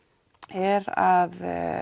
er að